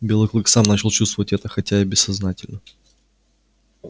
белый клык сам начал чувствовать это хотя и бессознательно